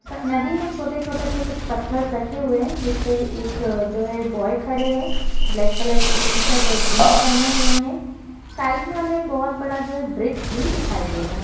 नदी में कुछ छोटे-छोटे से पत्थर रखे हुए है जिसपे एक जो है बॉय खड़े है ब्लैक कलर की टीशर्ट और जिन्स पहने हुए। साइड में हमे जो है बोहत बड़ा जो है ब्रिज भी दिखाई दे रहा है।